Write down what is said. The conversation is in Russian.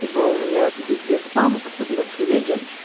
ибо у меня везде спам особенно в телеге